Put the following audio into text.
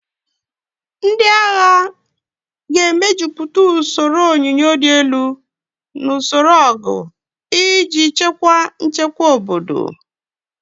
Ndị agha ga-emejuputa usoro onyunyo dị elu na usoro ọgụ iji chekwaa nchekwa obodo.